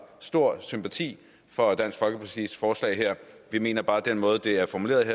stor sympati for dansk folkepartis forslag her vi mener bare at den måde det er formuleret